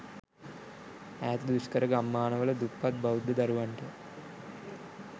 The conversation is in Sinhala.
ඈත දුෂ්කර ගම්මාන වල දුප්පත් බෞද්ධ දරුවන්ට